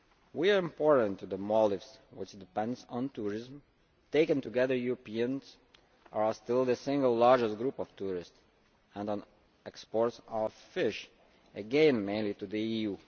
We are important to the Maldives, which depends on tourism taken together, Europeans are still the single largest group of tourists and on exports of fish, again mainly to the EU.